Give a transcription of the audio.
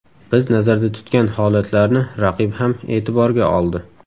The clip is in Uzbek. Biz nazarda tutgan holatlarni raqib ham e’tiborga oldi.